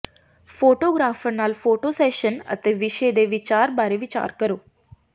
photographer ਨਾਲ photo session ਅਤੇ ਵਿਸ਼ੇ ਦੇ ਵਿਚਾਰ ਬਾਰੇ ਵਿਚਾਰ ਕਰੋ